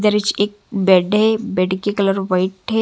दृश्य एक बेड हैं बेड की कलर व्हाइट हैं।